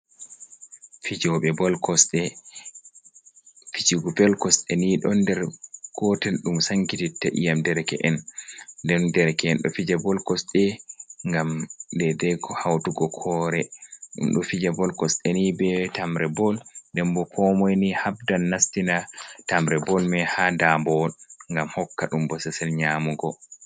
Fijube bol kosde, fijugo bol kosde ni don nder gotel dum sankititta iyam dereke’en, den dereke’en do fija bol kosde gam dede hautugo kore dum do fija bol kosde ni be tamre bol dembo komoyni habdan nastina tamre bol mai ha dambowo gam hokka dum bo sesel nyamugo.